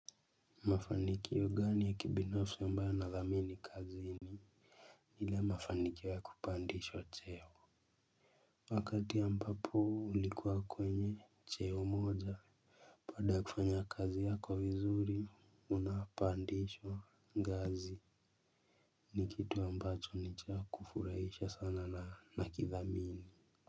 Mafanikio gani ya kibinafsi ambayo yanadhamini kazi ni? Ile mafanikio ya kupandishwa cheo. Wakati ambapo ulikuwa kwenye cheo moja baada ya kufanya kazi yako vizuri unapandishwa ngazi ni kitu ambacho ni cha kufurahisha sana na nakidhamini.